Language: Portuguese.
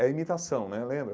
É imitação né, lembra?